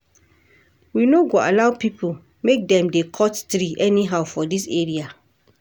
We no go allow pipo make dem dey cut tree anyhow for dis area.